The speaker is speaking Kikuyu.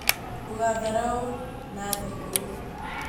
Ndũgatharaũ Nathi ũyũ